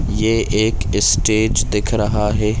ये एक इस्टेज दिख रहा है।